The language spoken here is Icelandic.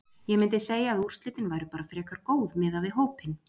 Ég myndi segja að úrslitin væru bara frekar góð miðað við hópinn.